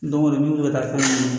Don o don n'u bɛ ka taa fɛn min na